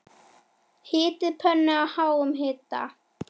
Hitið pönnu á háum hita.